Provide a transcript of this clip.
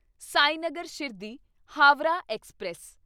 Sainagar Shirdi Howrah express